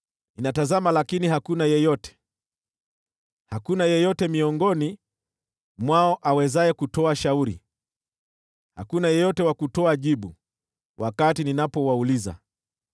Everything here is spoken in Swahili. Ninatazama, lakini hakuna yeyote: hakuna yeyote miongoni mwao awezaye kutoa shauri, hakuna yeyote wa kutoa jibu wakati ninapowauliza.